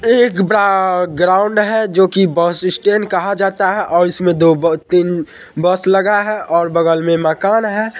एक बड़ा ग्राउन्ड है जो कि बस स्टेंड कहा जाता है और इसमे दो ब तीन बस लगा है और बगल मे मकान है।